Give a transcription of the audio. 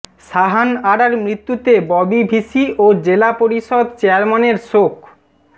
সাহান আরার মৃত্যুতে ববি ভিসি ও জেলা পরিষদ চেয়ারম্যানের শোক